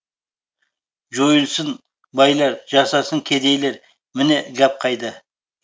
жойылсын байлар жасасын кедейлер міне гәп қайда